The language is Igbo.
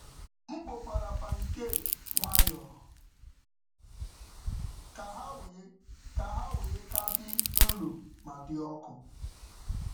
M kpokwara pancake pancake nwayọọ ka ha wee ka dị nro ma dị ọkụ.